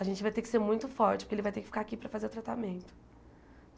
A gente vai ter que ser muito forte, porque ele vai ter que ficar aqui para fazer o tratamento.